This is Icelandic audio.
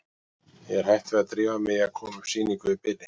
Ég er hætt við að drífa mig í að koma upp sýningu í bili.